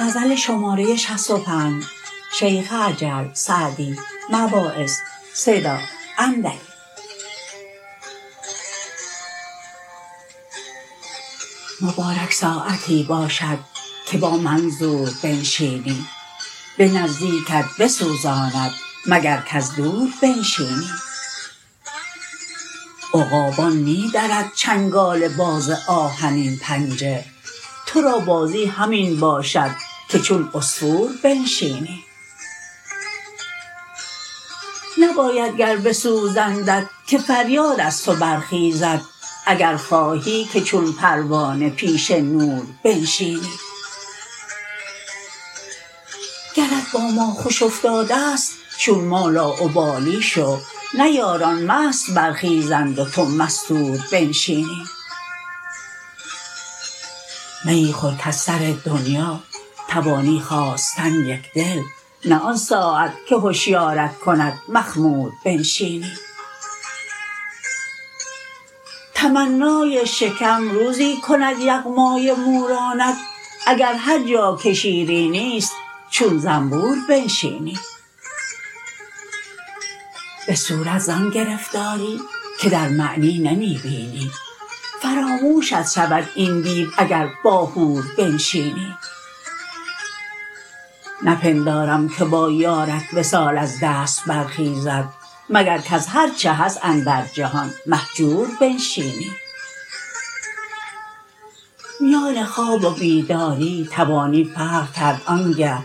مبارک ساعتی باشد که با منظور بنشینی به نزدیکت بسوزاند مگر کز دور بنشینی عقابان می درد چنگال باز آهنین پنجه تو را بازی همین باشد که چون عصفور بنشینی نباید گر بسوزندت که فریاد از تو برخیزد اگر خواهی که چون پروانه پیش نور بنشینی گرت با ما خوش افتاده ست چون ما لاابالی شو نه یاران مست برخیزند و تو مستور بنشینی میی خور کز سر دنیا توانی خاستن یکدل نه آن ساعت که هشیارت کند مخمور بنشینی تمنای شکم روزی کند یغمای مورانت اگر هر جا که شیرینی ست چون زنبور بنشینی به صورت زآن گرفتاری که در معنی نمی بینی فراموشت شود این دیو اگر با حور بنشینی نپندارم که با یارت وصال از دست برخیزد مگر کز هر چه هست اندر جهان مهجور بنشینی میان خواب و بیداری توانی فرق کرد آنگه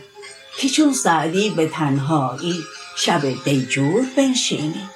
که چون سعدی به تنهایی شب دیجور بنشینی